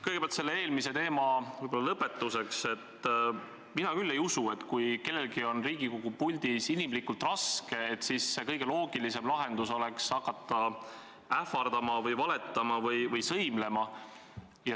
Kõigepealt selle eelmise teema lõpetuseks: mina küll ei usu, et kui kellelgi on Riigikogu puldis inimlikult raske, siis on kõige loogilisem lahendus hakata ähvardama või valetama või sõimlema.